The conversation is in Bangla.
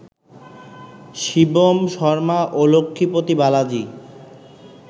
শিবম শর্মা ও লক্ষ্মীপতি বালাজি